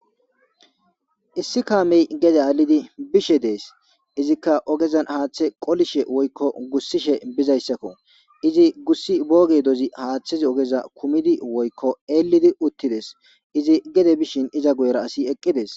Issi kameti gede alidi bishe desi izikka ogezani haaththe qolishshe woyikko gusishshe bizayisakko izi gussi bo geddoni haaththezi ogeza kumidi woyikko elidi utideesi izi gede bishin iza guyera ASI eqideesi